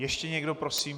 Ještě někdo prosím?